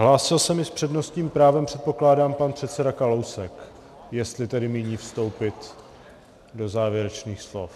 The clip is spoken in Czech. Hlásil se mi s přednostním právem, předpokládám, pan předseda Kalousek, jestli tedy míní vstoupit do závěrečných slov.